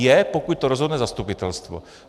Je, pokud to rozhodne zastupitelstvo.